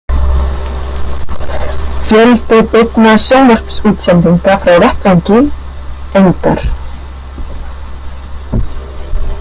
Fjöldi beinna sjónvarpsútsendinga frá vettvangi: engar.